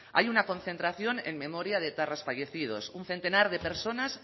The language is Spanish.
hay una concentración en memoria de etarras fallecidos un centenar de personas